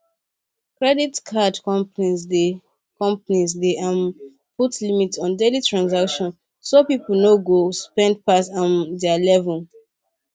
credit card companies dey companies dey um put limit on daily transactions so people no go spend pass um their level